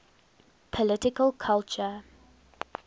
political culture